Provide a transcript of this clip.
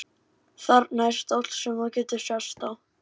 Þarna er stóll sem þú getur sest á.